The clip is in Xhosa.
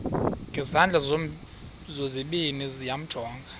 ngezandla zozibini yamjonga